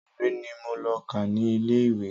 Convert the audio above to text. Ìwé ni mo lọ kà ní ilé ìwé.